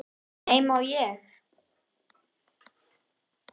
Nei, má ég!